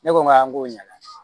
Ne ko n ma n ko ɲana